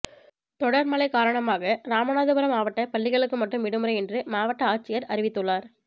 தொடர் மழை காரணமாக ராமநாதபுரம் மாவட்ட பள்ளிகளுக்கு மட்டும் விடுமுறை என்று மாவட்ட ஆட்சியர் அறிவித்துள்ளார்